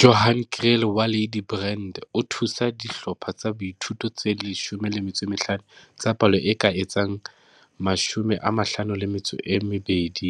Johan Kriel wa Ladybrand o thusa dihlopha tsa boithuto tse 15 tsa palo e ka etsang 520